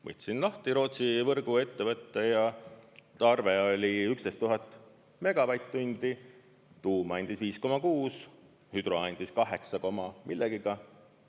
Võtsin lahti Rootsi võrguettevõtte ja arve oli 11 000 megavatt-tundi, tuum andis 5,6, hüdro andis kaheksa koma millegagi.